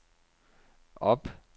op